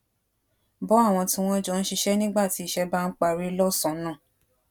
bó àwọn tí wón jọ ń ṣiṣé nígbà tí iṣé bá ń parí lósànán